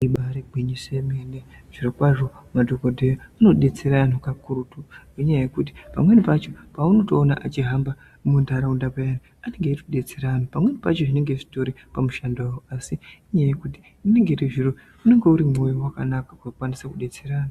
Ibaari gwinyiso yemene zvirokwazvo madhokodheya anodetsera antu kakurutu ngenyaya yekuti pamweni pacho paunotoona achihamba muntaraunda payani anenge eitodetsera antu pamweni pacho zvinenge zvitori pamushando asi inyaya yekuti unenge uri mwoyo wakanaka wekukwanisa kudetsera antu.